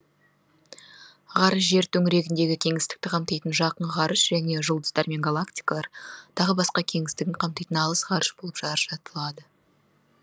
ғарыш жер төңірегіндегі кеңістікті қамтитын жақын ғарыш және жұлдыздар мен галактикалар тағы басқа кеңістігін қамтитын алыс ғарыш болып ажыратылады